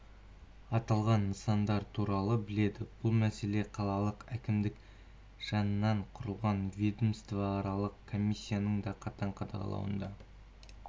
аталған нысандар туралы біледі бұл мәселе қалалық әкімдік жанынан құрылған ведомствоаралық комиссияның да қатаң қадағалауында